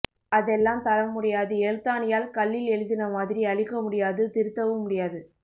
அதெல்லாம் தரமுடியாது எழுத்தாணியால் கல்லில் எழுதினமாதிரி அழிக்க முடியாது திருத்தவும் முடியாது